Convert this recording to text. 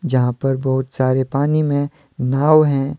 जहां पर बहुत सारे पानी में नाव है।